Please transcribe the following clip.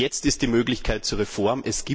Jetzt ist die Möglichkeit zur Reform.